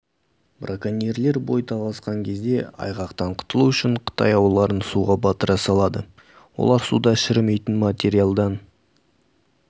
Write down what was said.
браконьерлер бой тасалаған кезде айғақтан құтылу үшін қытай ауларын суға батыра салады олар суда шірімейтін материалдан